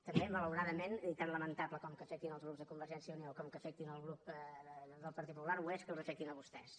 també malauradament tan lamentable com que afectin els grups de convergència i unió com que afectin el grup del partit popular ho és que els afectin a vostès